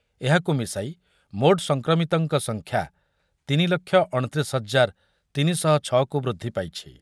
ଏହାକୁ ମିଶାଇ ମୋଟ ସଂକ୍ରମିତଙ୍କ ସଂଖ୍ୟା ତିନି ଲକ୍ଷ ଅଣତିରିଶି ହଜାର ତିନିଶହଛଅକୁ ବୃଦ୍ଧି ପାଇଛି ।